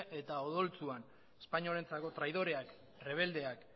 eta odoltsuan espainolentzako traidoreak rebeldeak